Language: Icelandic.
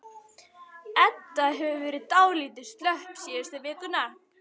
Edda hefur verið dálítið slöpp síðustu vikurnar.